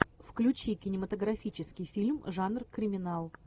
включи кинематографический фильм жанр криминал